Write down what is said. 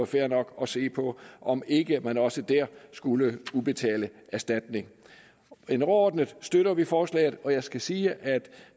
fair nok at se på om ikke man også der skulle udbetale erstatning overordnet støtter vi forslaget og jeg skal sige at